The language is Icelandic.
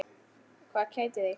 Hvað kætir þig?